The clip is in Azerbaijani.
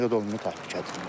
Nə qədər olmasa təhlükəlidir.